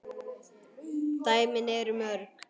dæmin eru mörg.